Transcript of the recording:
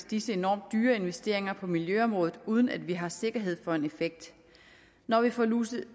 disse enormt dyre investeringer på miljøområdet ikke uden at vi har sikkerhed for en effekt når vi får luset